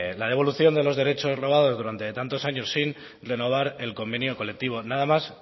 la devolución de los derechos robados durante tantos años sin renovar el convenio colectivo nada más